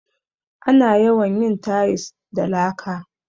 Ana yawan yin tayis da laka.